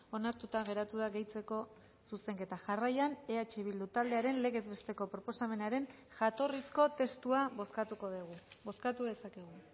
onartuta geratu da gehitzeko zuzenketa jarraian eh bildu taldearen legez besteko proposamenaren jatorrizko testua bozkatuko dugu bozkatu dezakegu